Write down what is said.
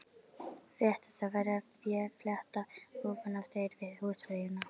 Réttast væri að ég fletti ofan af þér við húsfreyjuna.